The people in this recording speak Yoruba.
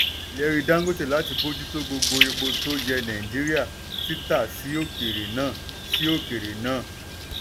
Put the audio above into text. ìlérí dangote láti bójú tó gbogbo epo tó yẹ nàìjíríà títa sí òkèèrè náà. sí òkèèrè náà.